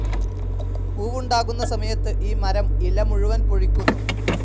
പൂവുണ്ടാകുന്ന സമയത്ത് ഈ മരം ഇല മുഴുവൻ പൊഴിക്കുന്നു.